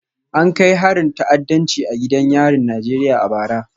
An kai harin ta'addanci a gidan yarin Najeriya a bara